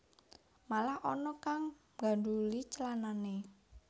Malah ana kang nggandhuli clanane